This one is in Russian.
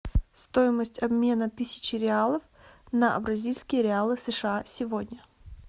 стоимость обмена тысячи реалов на бразильские реалы сша сегодня